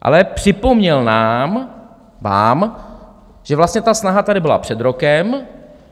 Ale připomněl nám, vám, že vlastně ta snaha tady byla před rokem.